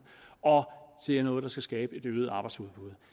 og det er noget der skal skabe et øget arbejdsudbud